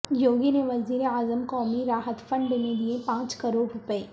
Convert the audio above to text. یوگی نے وزیراعظم قومی راحت فنڈ میں دئے پانچ کروڑ روپے